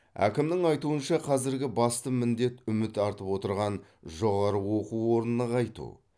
әкімнің айтуынша қазіргі басты міндет үміт артып отырған жоғары оқу орнын нығайту